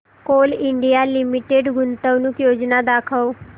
Coal India Limited गुंतवणूक योजना दाखव